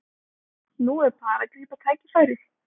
Nú er bara að grípa tækifærið